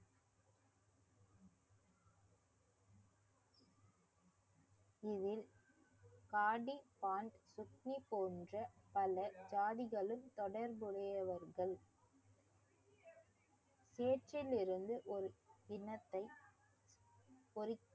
இதில் காடி போன்ற பல ஜாதிகளும் தொடர்புடையவர்கள் சேற்றிலிருந்து ஒரு கிண்ணத்தை ஒரு